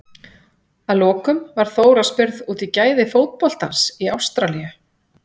Að lokum var Þóra spurð út í gæði fótboltans í Ástralíu?